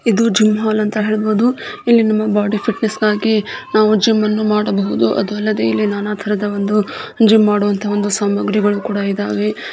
ಇದು gym hall ಅಂತ ಹೇಳಬಹುದು ಇಲ್ಲಿ ನಮ್ಮ ಬಾಡಿ ಫಿಟ್ನೆಸ್ ಹಾಗಿ ನಾವು ಜಿಮ್ ಅನ್ನು ಮಾಡಬಹುದು ಅದು ಅಲ್ಲದೆ ಇಲ್ಲಿ ನಾನಾತರದ ಒಂದು ಜಿಮ್ ಮಾಡುವಂತಹ ಒಂದು ಸಾಮಗ್ರಿಗಳು ಇದವೆ.